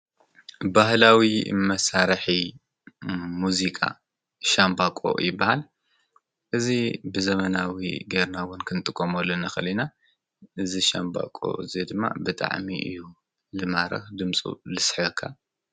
ባህላዊ መሳርሒ ሙዚቃ ሻምበቆ ይባሃል። እዚ ብዘመናዊ ገይርና እውን ከንጥቀመሉ ንክእል ኢና ነዚ ሻምባቆ እዚ ድማ ብጣዕሚ እዩ ዝማርክ ድምፁ ልስሕበካ።